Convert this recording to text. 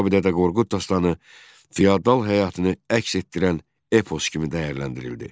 Kitabi Dədə Qorqud dastanı feodal həyatını əks etdirən epos kimi dəyərləndirildi.